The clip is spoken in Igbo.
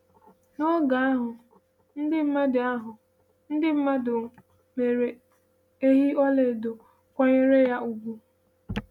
N’oge ahụ, ndị mmadụ ahụ, ndị mmadụ mere ehi ọla edo, kwanyere ya ugwu.